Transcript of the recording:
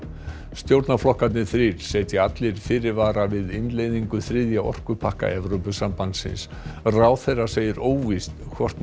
stjórnarflokkarnir þrír setja allir fyrirvara við innleiðingu þriðja orkupakka Evrópusambandsins ráðherra segir óvíst hvort